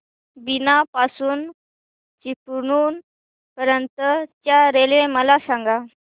बीना पासून चिपळूण पर्यंत च्या रेल्वे मला सांगा